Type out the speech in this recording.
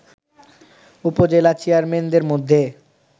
উপজেলা চেয়ারম্যানদের মধ্যে